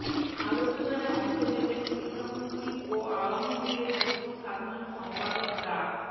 আলোচনায় অংশ নেবেন শিক্ষামন্ত্রী ও আওয়ামী লীগের যুগ্ম সাধারণ সম্পাদক ডা